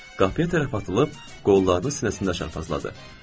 Qafiyə tərəf atılıb, qollarını sinəsində çarpazladı.